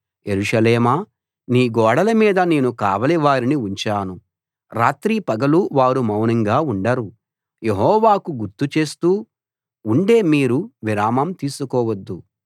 యెరూషలేమా నీ గోడలమీద నేను కావలి వారిని ఉంచాను రాత్రి పగలూ వారు మౌనంగా ఉండరు యెహోవాకు గుర్తుచేస్తూ ఉండే మీరు విరామం తీసుకోవద్దు